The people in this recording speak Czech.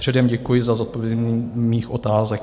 Předem děkuji za zodpovězení mých otázek.